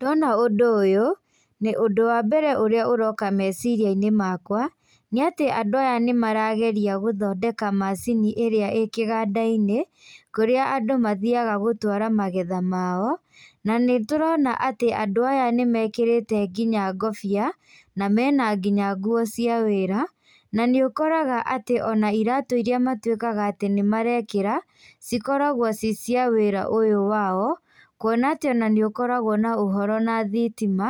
Ndona ũndũ ũyũ, nĩũndũ wa mbere ũrĩa ũroka meciriainĩ makwa, nĩatĩ andũ aya nĩmarageria gũthondeka macini ĩrĩa ĩ kĩgandainĩ, kũrĩa andũ mathiaga gũtwara magetha mao, na nĩtũrona atĩ andũ aya nĩmekĩrĩte nginya ngobia, na mena nginya nguo cia wĩra, na nĩũkoraga atĩ ona iratu iria matuĩkaga atĩ nĩmarekĩra, cikoragwo ciĩ cia wĩra ũyũ wao, kuona atĩ ona nĩ ũkoragwo na ũhoro na thitima,